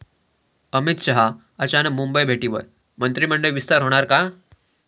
अमित शहा अचानक मुंबई भेटीवर, मंत्रिमंडळ विस्तार होणार का?